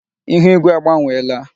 Ihu ígwé agbanwela.